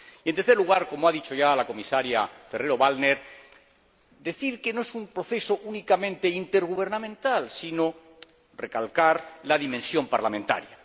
y, en tercer lugar, como ha dicho ya la comisaria Ferrero Waldner, decir que no es un proceso únicamente intergubernamental, sino recalcar la dimensión parlamentaria.